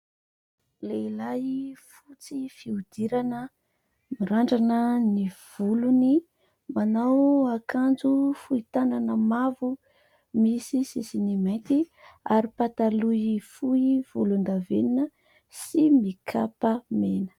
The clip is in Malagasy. Lehilahy fotsy fihodirana mirandrana ny volony, manao akanjo fohy tanana mavo misy sisin'ny mainty ary pataloha fohy volondavenina sy mikapa mena.